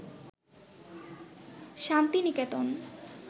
Santiniketan